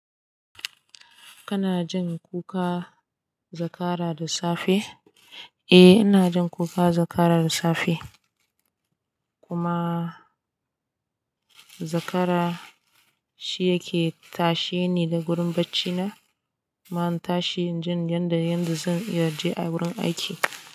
Kana jin kuka zakara da safe? Eh ina jin kuka zakara da safe. Kuma zakara shi yake tashe ni da gurin bacci na. Ma tashe jin yanda yanda zan iya zuwa gurin aiki.